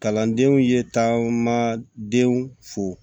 Kalandenw ye taamadenw fo